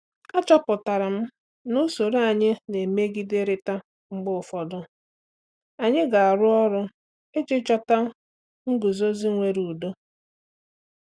Achọpụtara m na usoro anyị na-emegiderịta mgbe ụfọdụ; anyị ga-arụ ọrụ iji chọta nguzozi nwere udo?